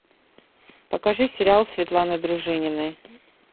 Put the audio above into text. покажи сериал светланы дружининой